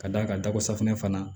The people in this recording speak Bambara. Ka d'a kan dako safunɛ fana